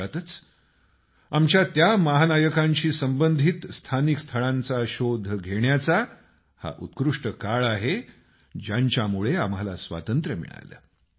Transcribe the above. अशातच आमच्या त्या महानायकांशी संबंधित स्थानिक स्थळांचा शोध घेण्याचा हा उत्कृष्ट काळ आहे ज्यांच्यामुळे आम्हाला स्वातंत्र्य मिळालं